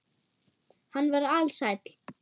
Hann var ALSÆLL.